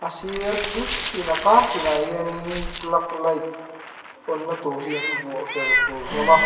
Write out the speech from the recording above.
a sir kil ten a kar tin ah te hianin plug light on na tur hi an vuah fer fur hlawm a.